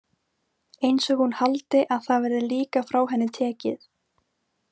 Einsog hún haldi að það verði líka frá henni tekið.